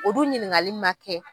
O dun ɲininkali man kɛ.